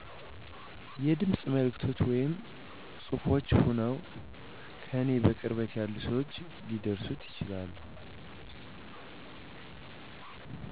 የድምፅ መልዕክቶች ወይም ፅሁፍች ሆነዉ ከኔ በቅርበት ያሉ ሰዎች ሊያደርሱት ይችላሉ